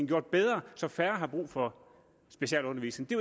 gjort bedre så færre har brug for specialundervisning det